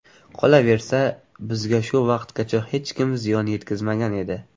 Qolaversa, bizga shu vaqtgacha hech kim ziyon yetkazmagan edi”.